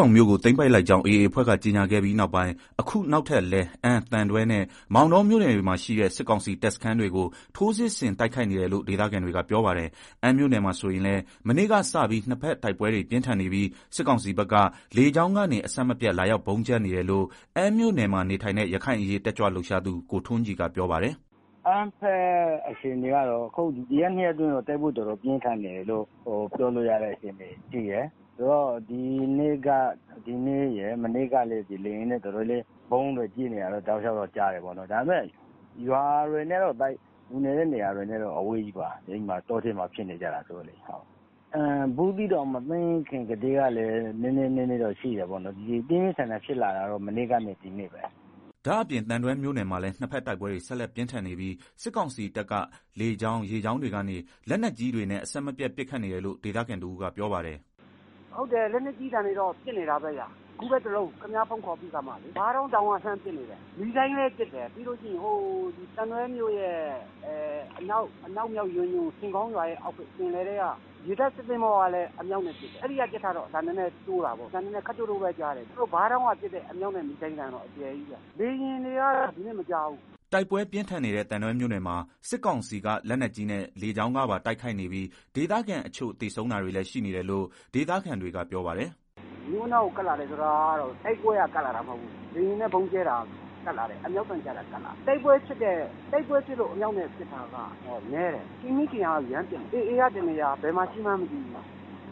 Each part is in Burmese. ောင်မြို့ကို သိမ်းပိုက်လိုက်ကြောင်း AA အဖွဲ့က ကြေညာခဲ့ပြီးနောက်ပိုင်း အခုနောက်ထပ်လည်း အမ်း၊ သံတွဲနဲ့ မောင်တောမြို့နယ်တွေမှာ ရှိတဲ့ စစ်ကောင်စီတပ်စခန်းတွေကို ထိုးစစ်ဆင်တိုက်ခိုက်နေတယ်လို့ ဒေသခံတွေက ပြောပါတယ်။ အမ်းမြို့နယ်မှာဆိုရင်လည်း မနေ့ကစပြီး နှစ်ဘက် တိုက်ပွဲ တွေ ပြင်းထန်နေပြီး စစ်ကောင်စီဘက်က လေကြောင်းကနေ အဆက်မပြတ် လာရောက်ဗုံးကြဲနေတယ်လို့ အမ်းမြို့နယ်မှာနေထိုင်တဲ့ ရခိုင်အရေးတက်ကြွလှုပ်ရှားသူ ကိုထွန်းကြည်က ပြောပါတယ်။ “အမ်းဘက်အခြေအနေကတော့ ဒီတရက်နှစ်ရက်အတွင်းတော့ တိုက်ပွဲတော်တော်ပြင်း ထန်တယ်လို့ ပြောလို့ရတဲ့ အခြေအနေရှိတယ်။ဒီနေ့နဲ့ မနေ့ကတော့ လေယာဉ်နဲ့ဗုံး တွေကြဲနေတာ တောက်လျောက်တော့ ကြားတယ်၊ ဒါပေမယ့် လူနေကျေးရွာတွေနဲ့တော့ တော်တော်ဝေးပါတယ်၊တောထဲမှာဖြစ်နေကြဆိုတော့လေ။ ဘူးသီးတောင်ကို မသိမ်း ခင်ကတည်းက နည်းနည်းဖြစ်တာရှိတယ် ပြင်းပြင်းထန်ထန်ဖြစ်လာတာကတော့မနေ့ကနဲ့ ဒီနေ့ပဲ။” ဒါ့အပြင်သံတွဲ မြို့နယ်မှာလည်း နှစ်ဘက်တိုက်ပွဲတွေ ဆက်လက်ပြင်းထန်နေပြီး စစ်ကောင်စီတပ်က လေကြောင်း ရေကြောင်းတွေကနေ လက်နက်ကြီးတွေနဲ့ အဆက်မပြတ်ပစ်ခတ်နေတယ်လို့ ဒေသခံတဦးကပြောပါတယ်။ “လက်နက်ကြီးတွေတော့ ပစ်နေတာပဲဗျာ အခုလေးတင်တလုံပစ်တယ်၊ ဘားတောင်း တောင် က လှမ်းပစ်နေတာ နေ့တိုင်းပစ်တယ်၊ ပြီးတော့ သံတွဲမြို့ရဲ့ အနောက်မြောက် ဆင်ခေါင်းရွာရဲ့ အောက်ဘက် ပင်လယ်ထဲက ရေတပ်စစ်သင်္ဘောကလည်း အမြောက်နဲ့ ပစ်တယ်၊ အဲတာ တော့ အသံ ခပ်တိုးတိုးပဲ ကြားရတယ်၊ ဘားတောင်းက ပစ်တာကတော့ အကျယ်ကြီးးပဲ၊ လေယာဉ်နဲ့ ပစ်သံတော့ ဒီနေ့မကြားဘူး။” တိုက်ပွဲပြင်းထန်နေတဲ့ သံတွဲမြို့နယ်မှာ စစ်ကောင်စီက လက်နက်ကြီးနဲ့ လေကြောင်းကပါ တိုက်ခိုက်နေပြီး ဒေသခံတချို့ သေဆုံးတာတွေလည်း ရှိနေတယ်လို့ ဒေသခံတွေက ပြောပါတယ်။ “မြို့နားကို ကပ်လာတယ်ဆိုတာ တိုက်ပွဲက ကပ်လာတာမဟုတ်ဘူး။ လေယာဉ်နဲ့ ဗုံးကြဲ တာတွေက ကပ်လာတာ အမြောက်နဲ့ ပစ်တာတွေ ကပ်လာတာ၊ တိုက်ပွဲဖြစ်လို့ အမြောက်နဲ့ ပစ်တာက နည်းတယ်၊ ထင်မိထင်ရာ ရမ်းပစ်နေတာ AAက တနေရာ ဘယ် မှာရှိမှန်းမသိဘူး၊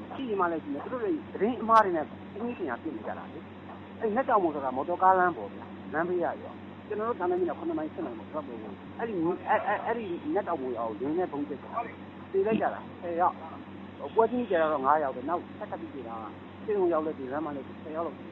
ရှိချင်မှလည်း ရှိမယ် သူတို့တွေ သတင်းအမှားတွေနဲ့ ထင်မိထင် ရာပစ်နေကြတာလေ၊ အဲဒီနတ်တောင်မော်ဆိုတာ မော်တော်ကားလမ်းပေါ်ဗျာ။ အဲဒီနတ် တောင်မော်ရွာကို လေယာဉ်နဲ့ ဗုံးကြဲတော့ သေလိုက်ကြတာ ပွဲချင်းပြီးသေတာ ၅ယောက် နောက် လမ်းမှာ သေတာနဲ့ ဆေးရုံရောက်မှသေတာနဲ့ဆို ဆယ်ယောက်လောက်ရှိ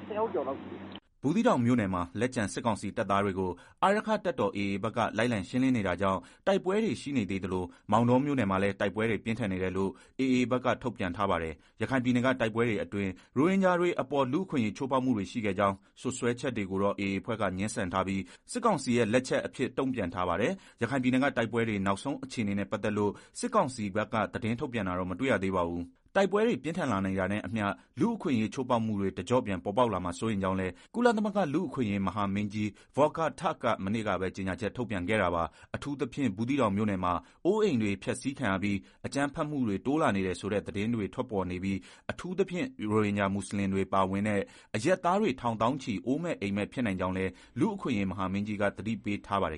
တယ်။” ဘူးသီးတောင်မြို့နယ်မှာ လက်ကျန်စစ်ကောင်စီတပ် သားတွေကို အာရက္ခတပ်တော်AAဘက်က လိုက်လံရှင်းလင်းနေတာကြောင့် တိုက်ပွဲတွေ ရှိနေသေးသလို မောင်တောမြို့နယ်မှာလည်း တိုက်ပွဲတွေ ပြင်းထန်နေတယ်လို့ AAဘက်က ထုတ်ပြန်ထားပါတယ်။ ရခိုင်ပြည်နယ်က တိုက်ပွဲတွေအတွင်း ရိုဟင်ဂျာတွေအပေါ် လူ့အခွင့်အရေး ချိုးဖောက်မှုတွေ ရှိခဲ့ကြောင်း စွပ်စွဲချက်တွေကိုတော့ AA အဖွဲ့က ငြင်းဆန်ထားပြီး စစ်ကောင်စီရဲ့ လက်ချက်အဖြစ် တုံ့ပြန်ထားပါတယ်။ ရခိုင်ပြည်နယ်က တိုက်ပွဲတွေ နောက်ဆုံးအခြေအနေနဲ့ ပတ်သက်လို့ စစ်ကောင်စီက သတင်းထုတ်ပြန်တာတော့ မတွေ့ရပါဘူး။ တိုက်ပွဲတွေ ပြင်းထန်လာနေတာနဲ့အမျှ လူ့အခွင့်အရေး ချိုးဖောက်မှုတွေ တကျော့ပြန် ပေါ်ပေါက်လာမှာ စိုးရိမ်ကြောင်းလည်း ကုလသမဂ္ဂလူ့အခွင့်အရေး မဟာမင်းကြီး Volker Türk က မနေ့ကပဲ ကြေညာချက် ထုတ်ပြန်ခဲ့တာပါ။ အထူးသဖြင့် ဘူသီးတောင် မြို့နယ်မှာ အိုးအိမ်တွေ ဖျက်ဆီးခံရပြီး၊ အကြမ်းဖက်မှုတွေ တိုးလာနေတယ်ဆိုတဲ့ သတင်းတွေထွက်ပေါ်နေပြီး အထူးသဖြင့် ရိုဟင်ဂျာ မူဆလင်တွေပါဝင်တဲ့ အရပ်သားတွေ ထောင်သောင်းချီ အိုးမဲ့အိမ်မဲ့ ဖြစ်နိုင်ကြောင်းလည်း လူ့အခွင့်အရေး မဟာမင်းကြီးက သတိပေးထားပါတယ်